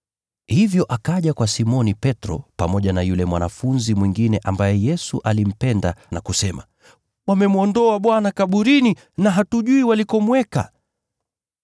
Hivyo akaja akikimbia kwa Simoni Petro pamoja na yule mwanafunzi mwingine ambaye Yesu alimpenda, na kusema, “Wamemwondoa Bwana kaburini, na hatujui walikomweka!”